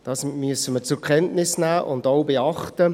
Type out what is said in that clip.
Das müssen wir zur Kenntnis nehmen und auch beachten.